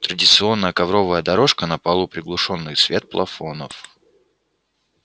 традиционная ковровая дорожка на полу приглушённый свет плафонов